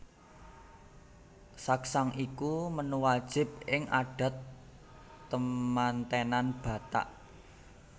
Saksang iku menu wajib ing adat temantenan Batak